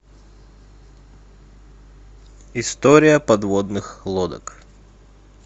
история подводных лодок